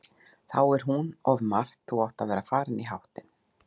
Þá er hún of margt, þú átt að vera farinn í háttinn.